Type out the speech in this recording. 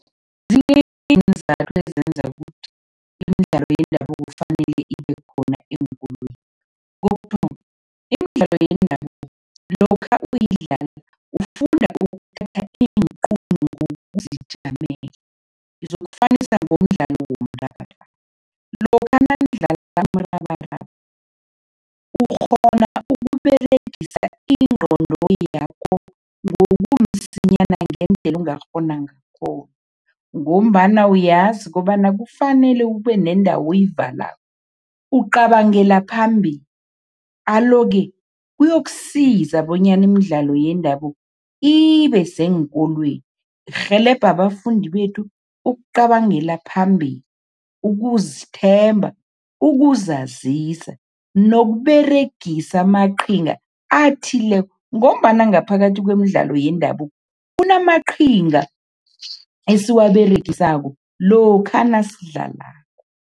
Zinengi iinzathu ezenza ukuthi imidlalo yendabuko kufanele ibe khona eenkolweni. Kokuthoma, imidlalo yendabuko lokha uyidlala ufunda ukuthatha iinqunto nokuzijamela, ngizokufanisa ngomdlalo womrabaraba. Lokha nanidlala umrabaraba, ukghona ukUberegis ingqondo yakho ngendlela ongakghona ngakhona ngombana uyazi kobana kufanele kube nendawo oyivalako, ucabangela phambili. Alo-ke, kuyokusiza bonyana imidlalo yendabuko ibe seenkolweni, irhelebha abafundi bethu ukucabangela phambili, ukuzithemba, ukuzazisa nokUberegisa amaqhinga athileko ngombana ngaphakathi kwemidlalo yendabuko, kunamaqhinga esiwaberegisako lokha nasidlalako.